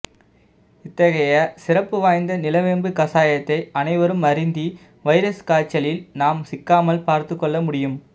இத்தகைய சிறப்பு வாய்ந்த நிலவேம்பு கசாயத்தை அனைவரும் அருந்தி வைரஸ் காய்ச்சலில் நாம் சிக்காமல் பார்த்துக் கொள்ள முடியும்